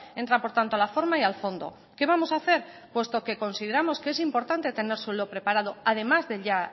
entra por tanto a la forma y al fondo qué vamos a hacer puesto que consideramos que es importante tener suelo preparado además del ya